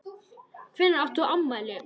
Hvenær átt þú afmæli?